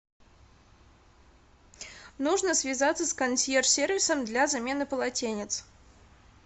нужно связаться с консьерж сервисом для замены полотенец